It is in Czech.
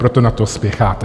Proto na to spěcháte.